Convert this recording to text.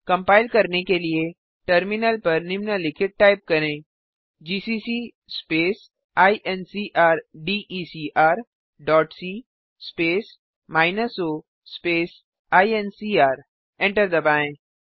compile करने के लिए टर्मिनल पर निम्नलिखित टाइप करें जीसीसी स्पेस इनक्रडेकर dot c space minus o space ईएनसीआर एंटर दबाएँ